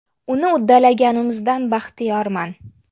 Uni uddalaganimizdan baxtiyorman.